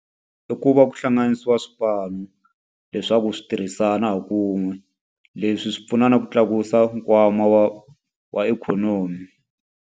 I ku va ku hlanganisiwa swipano leswaku swi tirhisana hi ku wun'we. Leswi swi pfuna na ku tlakusa nkwama wa wa ikhonomi.